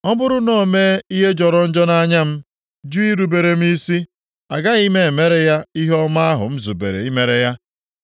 ọ bụrụ na o mee ihe jọrọ njọ nʼanya m, jụ irubere m isi, agaghị m emere ya ihe ọma ahụ m zubere imere ya.